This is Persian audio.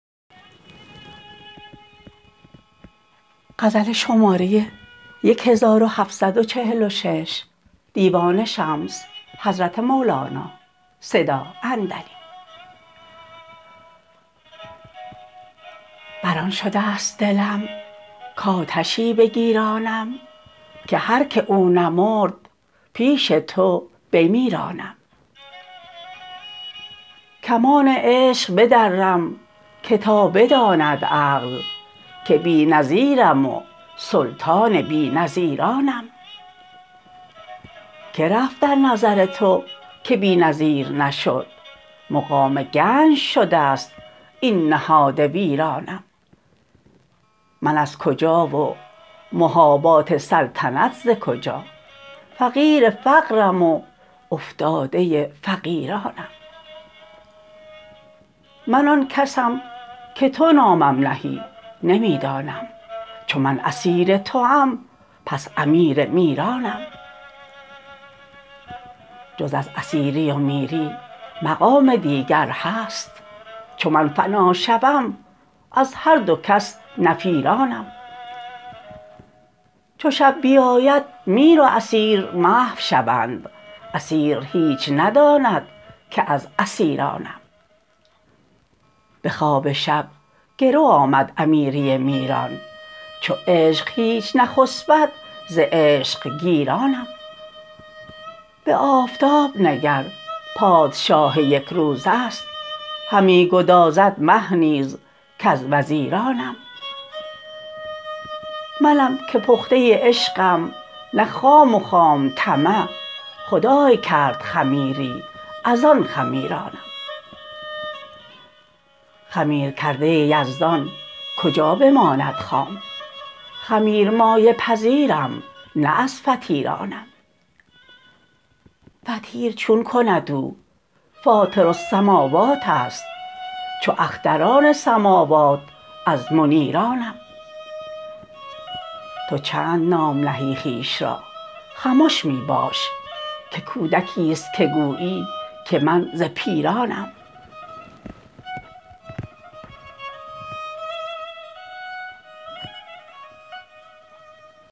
بر آن شده ست دلم کآتشی بگیرانم که هر کی او نمرد پیش تو بمیرانم کمان عشق بدرم که تا بداند عقل که بی نظیرم و سلطان بی نظیرانم که رفت در نظر تو که بی نظیر نشد مقام گنج شده ست این نهاد ویرانم من از کجا و مباهات سلطنت ز کجا فقیر فقرم و افتاده فقیرانم من آن کسم که تو نامم نهی نمی دانم چو من اسیر توام پس امیر میرانم جز از اسیری و میری مقام دیگر هست چو من فنا شوم از هر دو کس نفیرانم چو شب بیاید میر و اسیر محو شوند اسیر هیچ نداند که از اسیرانم به خواب شب گرو آمد امیری میران چو عشق هیچ نخسبد ز عشق گیرانم به آفتاب نگر پادشاه یک روزه ست همی گدازد مه نیز کز وزیرانم منم که پخته عشقم نه خام و خام طمع خدای کرد خمیری از آن خمیرانم خمیرکرده یزدان کجا بماند خام خمیرمایه پذیرم نه از فطیرانم فطیر چون کند او فاطرالسموات است چو اختران سماوات از منیرانم تو چند نام نهی خویش را خمش می باش که کودکی است که گویی که من ز پیرانم